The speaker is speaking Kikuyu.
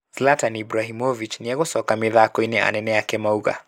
Zlatan Ibrahimovic nĩegũcoka mithakoinĩ, anene make maũga.